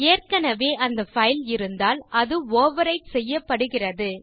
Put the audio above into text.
ஏற்கனவே அந்த பைல் இருந்தால் அது ஓவர்விரைட் செய்யப்படுகிறது